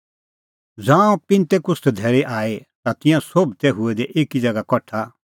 ज़ांऊं पिन्तेकुस्त धैल़ी आई ता तिंयां सोभ तै हुऐ दै एकी ज़ैगा कठा